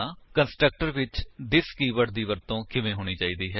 constructor ਵਿੱਚ this keyword ਦੀ ਵਰਤੋ ਕਿਵੇਂ ਹੋਣੀ ਚਾਹੀਦੀ ਹੈ